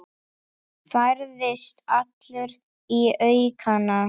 Færðist allur í aukana.